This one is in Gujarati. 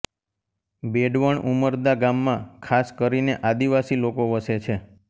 બેડવણ ઉમરદા ગામમાં ખાસ કરીને આદિવાસી લોકો વસે છે